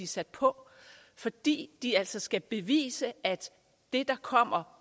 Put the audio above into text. sat på fordi de altså skal bevise at det der kommer